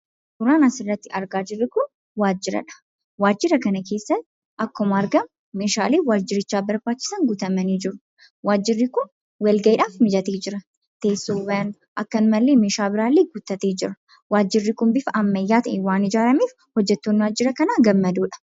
Suuraan asirratti argaa jirru kun waajjira dha. Waajjira kana keessa akkuma argamu meeshaaleen waajjirichaaf barbaachisan guutamanii jiru. Waajjirri kun walgayiidhaaf mijatee jira. Teessoowwan ,akkanumallee meeshaalee biraa illee guuttatee jira. Waajjirri kun bifa ammayyaa'aa ta'een waan ijaarameef hojjettoonni waajjira kanaa gammadoodha.